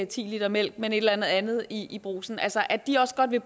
ti l mælk men et eller andet i brugsen altså at de også godt vil